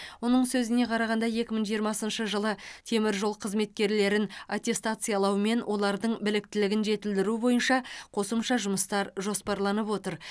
оның сөзіне қарағанда екі мың жиырмасыншы жылы теміржол қызметкерлерін аттестациялау мен олардың біліктілігін жетілдіру бойынша қосымша жұмыстар жоспарланып отыр